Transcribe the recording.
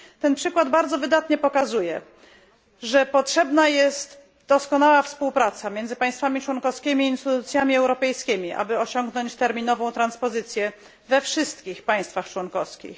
Ten przykład bardzo wydatnie pokazuje, że potrzebna jest doskonała współpraca między państwami członkowskimi i instytucjami europejskimi, aby osiągnąć terminową transpozycję we wszystkich państwach członkowskich.